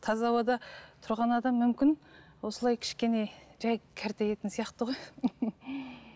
таза ауада тұрған адам мүмкін осылай кішкене жай сияқты ғой